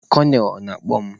Konel, ọ na-akpọ mụ?